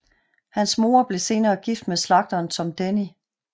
Hans mor blev senere gift med slagteren Tom Denny